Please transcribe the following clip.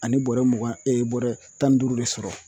Ani bɔrɛ mugan bɔrɛ tan ni duuru de sɔrɔ